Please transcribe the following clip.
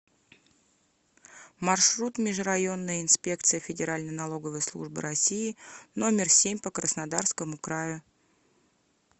маршрут межрайонная инспекция федеральной налоговой службы россии номер семь по краснодарскому краю